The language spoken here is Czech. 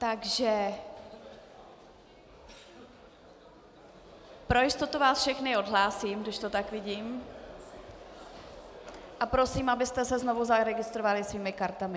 Takže pro jistotu vás všechny odhlásím, když to tak vidím, a prosím, abyste se znovu zaregistrovali svými kartami.